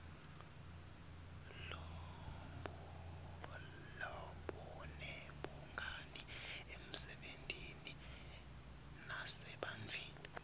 lobunebungani emsebentini nasebantfwini